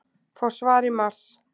Fá svar í mars